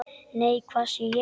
Nei, hvað sé ég!